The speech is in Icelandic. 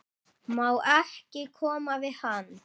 Má ekki koma við hann?